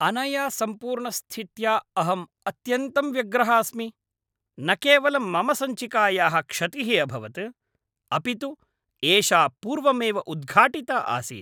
अनया सम्पूर्णस्थित्या अहम् अत्यन्तं व्यग्रः अस्मि। न केवलं मम सञ्चिकायाः क्षतिः अभवत्, अपि तु एषा पूर्वमेव उद्घाटिता आसीत्!